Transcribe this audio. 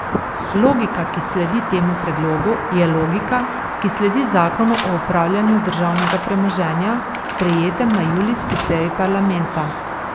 Logika, ki sledi temu predlogu, je tudi logika, ki sledi zakonu o upravljanju državnega premoženja, sprejetem na julijski seji parlamenta.